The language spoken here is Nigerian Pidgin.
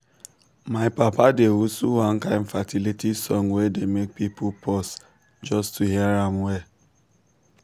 my papa dey whistle one kind fertility song wey dey make people pause just to hear am well.